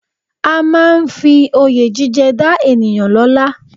A máa ń fi Oyè jíjẹ dá ènìyàn lọ́la